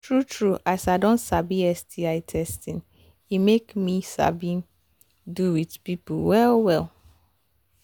true true as i don sabi sti testing e make me sabi do with people well well